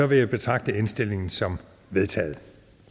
vil jeg betragte indstillingen som vedtaget